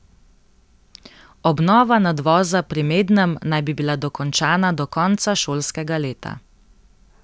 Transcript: Obnova nadvoza pri Mednem naj bi bila dokončana do konca šolskega leta.